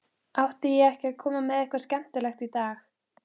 Átti ég ekki að koma með eitthvað skemmtilegt í dag?